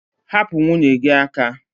Hapụ nwunye gị aka!